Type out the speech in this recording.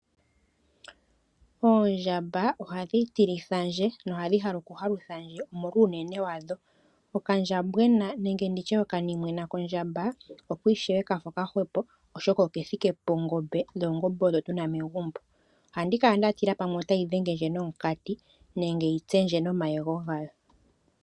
Oondjamba ohadhi tilithandje nohadhi hala okuhaluthandje omolwa uunene wadho. Okandjambwena nenge nditye okanimwena kondjamba oko ishewe kafa okahwepo oshoka okethike pongombe dho oongombe odho tuna megumbo. Ohandi kala ndatila pamwe otayi dhengendje nomunkati nenge yitsendje nomayego gayo.